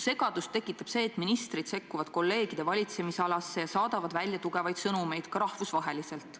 Segadust tekitab see, et ministrid sekkuvad kolleegide valitsemisalasse ja saadavad välja tugevaid sõnumeid ka rahvusvaheliselt.